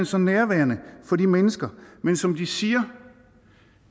så nærværende for de mennesker men som de siger